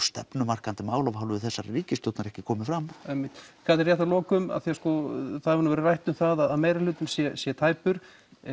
stefnumarkandi mál af hálfu þessarar ríkisstjórnar ekki komið fram einmitt Katrín rétt að lokum af því það hefur verið rætt um að meirihlutinn sé tæpur